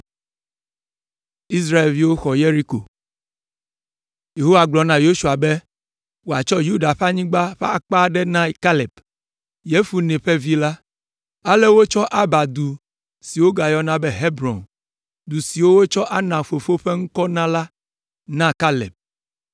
Yehowa gblɔ na Yosua be wòatsɔ Yuda ƒe anyigba ƒe akpa aɖe na Kaleb, Yefune ƒe vi la. Ale wotsɔ Arba du si wogayɔna be Hebron, du si wotsɔ Anak fofo ƒe ŋkɔ na la na Kaleb.